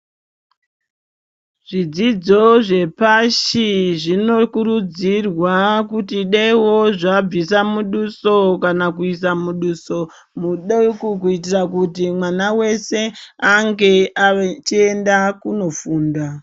Zvidzidzo zve pashi zvino kurudzirwa kuti daiwo zvabvisa muduso kana kuisa muduso mudoko kuitira kuti mwana wese ange achi enda kuno funda.